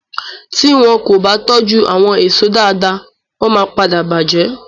Ti wọn kò bá tójú àwon èèso dáadáa wọ́n máa padà bàjẹ́